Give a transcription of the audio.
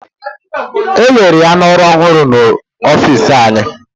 Ewere ya n'ọrụ ọhụrụ n'ọfịsi anyị